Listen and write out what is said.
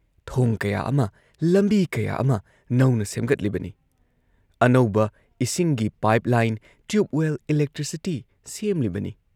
ꯊꯣꯡ ꯀꯌꯥ ꯑꯃ, ꯂꯝꯕꯤ ꯀꯌꯥ ꯑꯃ ꯅꯧꯅ ꯁꯦꯝꯒꯠꯂꯤꯕꯅꯤ, ꯑꯅꯧꯕ ꯏꯁꯤꯡꯒꯤ pipe line, tube well, electricity ꯁꯦꯝꯂꯤꯕꯅꯤ